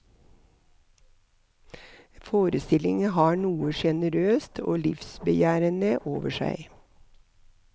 Forestillingen har noe generøst og livsbejaende over seg.